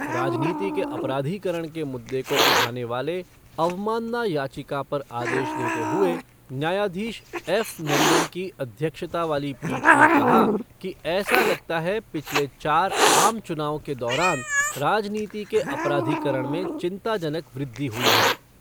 राजनीति के अपराधीकरण के मुद्दे को उठाने वाले अवमानना याचिका पर आदेश देते हुए न्यायाधीश एफ़ नरीमन की अध्यक्षता वाली पीठ ने कहा कि ऐसा लगता है पिछले चार आम चुनावों के दौरान राजनीति के अपराधीकरण में चिंताजनक वृद्धि हुई है।